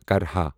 کرہا